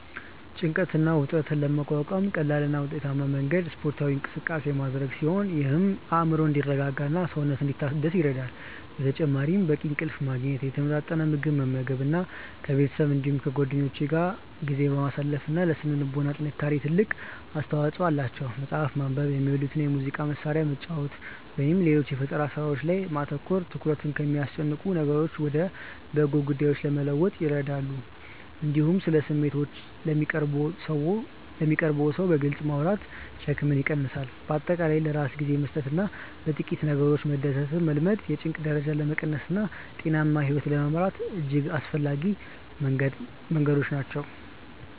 ጭንቀትን እና ውጥረትን ለመቋቋም ቀላሉ እና ውጤታማው መንገድ ስፖርታዊ እንቅስቃሴ ማድረግ ሲሆን ይህም አእምሮ እንዲረጋጋና ሰውነት እንዲታደስ ይረዳል። በተጨማሪም በቂ እንቅልፍ ማግኘት፣ የተመጣጠነ ምግብ መመገብ እና ከቤተሰብ እንዲሁም ከጓደኞች ጋር ጊዜ ማሳለፍ ለሥነ ልቦና ጥንካሬ ትልቅ አስተዋጽኦ አላቸው። መጽሐፍትን ማንበብ፣ የሚወዱትን የሙዚቃ መሣሪያ መጫወት ወይም ሌሎች የፈጠራ ሥራዎች ላይ ማተኮር ትኩረትን ከሚያስጨንቁ ነገሮች ወደ በጎ ጉዳዮች ለመለወጥ ይረዳሉ። እንዲሁም ስለ ስሜቶችዎ ለሚቀርቡዎት ሰው በግልጽ ማውራት ሸክምን ይቀንሳል። በአጠቃላይ ለራስ ጊዜ መስጠትና በጥቂት ነገሮች መደሰትን መልመድ የጭንቀት ደረጃን ለመቀነስና ጤናማ ሕይወት ለመምራት እጅግ አስፈላጊ መንገዶች ናቸው።